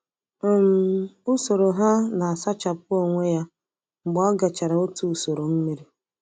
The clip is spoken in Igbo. um Usoro ha na-asachapụ onwe ya mgbe ọ gachara otu usoro mmiri.